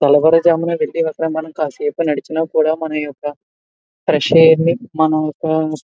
తెల్లవారు జామున కాసేపు నడిచిన కూడా మన యొక్క ఫ్రెష్ ఎయిర్ ని మనం ఒక --